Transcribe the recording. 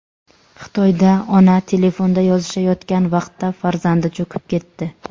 Xitoyda ona telefonda yozishayotgan vaqtda farzandi cho‘kib ketdi .